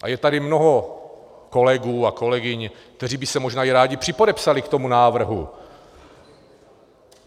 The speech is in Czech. A je tady mnoho kolegů a kolegyň, kteří by se možná i rádi připodepsali k tomuto návrhu.